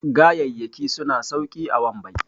gayayyaki suna sauki a wambai